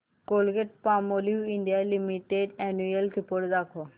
Colgate Palmolive India limited annual report दाखव